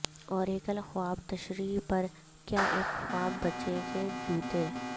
Oracle خواب تشریح پر کیا ایک خواب بچے کے جوتے